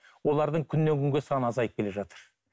олардың күннен күнге саны азайып келе жатыр